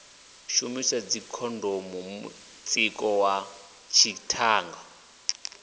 shumiswe dzikhondomu mutsiko wa dzithanga